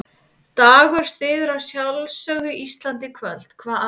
Dagur styður að sjálfsögðu Ísland í kvöld, hvað annað?